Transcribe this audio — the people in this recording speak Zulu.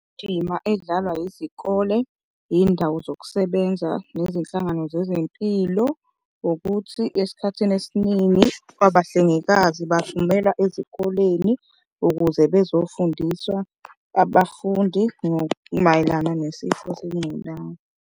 Indima edlalwa yizikole, yiy'ndawo zokusebenza nezinhlangano zezempilo ukuthi esikhathini esiningi abahlengikazi bathumelwa ezikoleni ukuze bezofundiswa abafundi mayelana nesifo sengculaza.